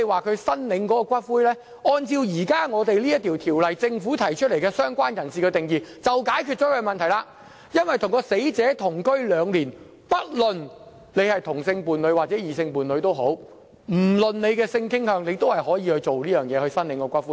至於申領骨灰方面，按照當前這項條例草案，政府就"相關人士"提出的定義已解決他們的問題，因為只要是跟死者同居兩年的人，不論是同性或異性伴侶，不論性傾向，也可申領骨灰。